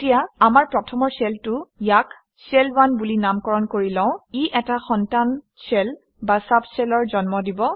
এতিয়া আমাৰ প্ৰথমৰ শ্বেলটো - ইয়াক শেল 1 বুলি নামকৰণ কৰি লওঁ ই এটা সন্তান শ্বেল বা চুব shell অৰ জন্ম দিব